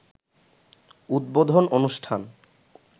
উদ্বোধন অনুষ্ঠান